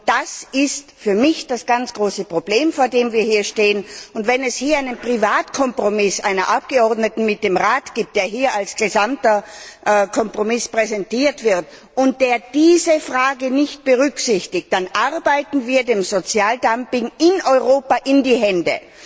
Das ist das ganz große Problem, vor dem wir hier stehen, und wenn es hier einen Privatkompromiss zwischen einer Abgeordneten und dem Rat gibt, der hier als allgemeiner Kompromiss präsentiert wird und der diese Frage nicht berücksichtigt, dann arbeiten wir dem Sozialdumping in Europa in die Hände.